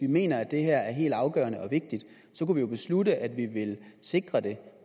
vi mener at det her er helt afgørende og vigtigt kunne vi jo beslutte at vi ville sikre det